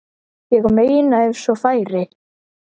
Ég meina ef svo færi.